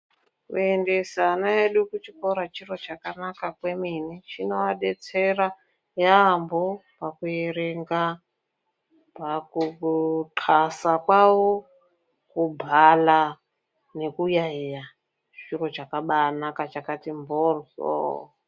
Kuendesa ana edu kuchikora chiro chakanaka kwemene. Chinovadetsera yaambo pakuerenga, pakuxasa kwavo, kubhala nekuyayeya. Chiro chakabaanaka chakati mboryoo.